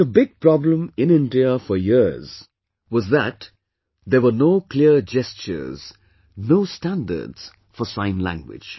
But a big problem in India for years was that there were no clear gestures, no standards for Sign Language